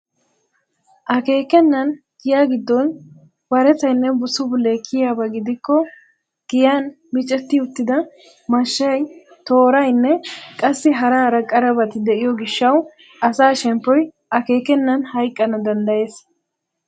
Akeekenan giya giddon warettaynne busubulee kiyiyaaba gidikko giyaan micetti uttida mashshay, tooraynne qassi hara hara qarabati de'iyoo gishshawu asa shemppoy akeekenan hayqqana danddayees.